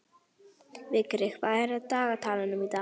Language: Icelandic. Vigri, hvað er á dagatalinu í dag?